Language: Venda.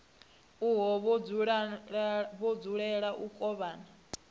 uho vha dzulela u kovhana